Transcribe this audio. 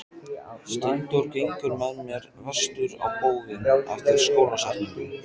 Steindór gengur með mér vestur á bóginn eftir skólasetningu.